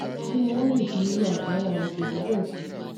kín ni wọn lè fi irú agbára òṣèlú bẹẹ ṣe